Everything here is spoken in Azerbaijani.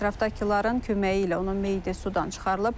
Ətrafdakıların köməyi ilə onun meyidi sudan çıxarılıb.